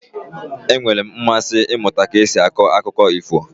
E nweela m mmasị ịmụta ka esi akọ akụkọ ifo.